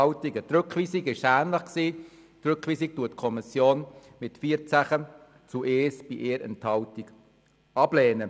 Die Rückweisung lehnt die Kommission mit 14 zu 1 Stimmen bei 1 Enthaltung ab.